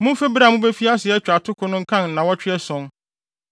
Mumfi bere a mubefi ase atwa atoko no nkan nnaawɔtwe ason.